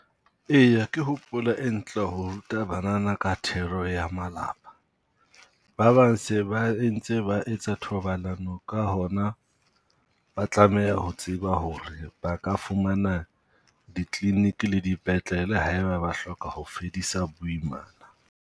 Eya ke hopolo e ntle ho ruta banana ka thero ya malapa. Ba bang se ba entse ba etsa thobalano ka hona ba tlameha ho tseba ho re ba ka fumana ditleleniki le dipetlele ha e ba ba hloka ho fedisa boimana.